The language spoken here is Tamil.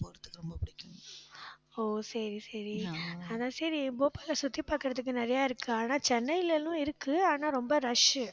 ஓ, சரி, சரி. அதான் சரி, போபாலை சுத்தி பார்க்குறதுக்கு நிறைய இருக்கு. ஆனால் சென்னையிலலாம் இருக்கு ஆனால் ரொம்ப rush